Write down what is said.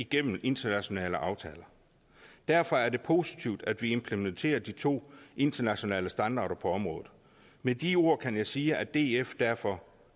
gennem internationale aftaler derfor er det positivt at vi implementerer de to internationale standarder på området med de ord kan jeg sige at df derfor